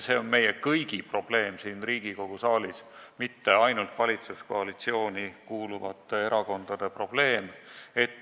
See on meie kõigi probleem siin Riigikogu saalis, mitte ainult valitsuskoalitsiooni kuuluvate erakondade probleem.